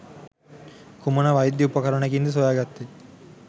කුමන වෛද්‍ය උපකරණයකින්ද සොයාගත්තේ?